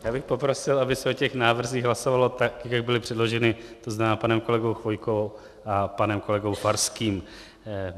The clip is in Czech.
Já bych poprosil, aby se o těch návrzích hlasovalo tak, jak byly předloženy, to znamená panem kolegou Chvojkou a panem kolegou Farským.